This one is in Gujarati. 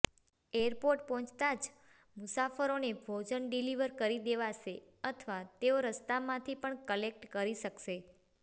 એરપોર્ટ પહોંચતાં જ મુસાફરોને ભોજન ડિલિવર કરી દેવાશે અથવા તેઓ રસ્તામાંથી પણ કલેક્ટ કરી શકશે